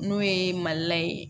N'o ye mali la ye